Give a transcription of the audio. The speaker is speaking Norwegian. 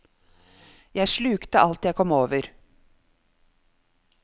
Jeg slukte alt jeg kom over.